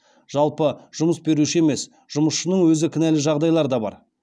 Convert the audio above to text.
жалпы жұмыс беруші емес жұмысшының өзі кінәлі жағдайлар да бар